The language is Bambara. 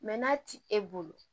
Mɛ n'a ti e bolo